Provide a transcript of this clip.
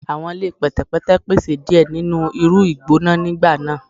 Awọn ile pẹtẹpẹtẹ pese diẹ ninu iru igbona nigba naa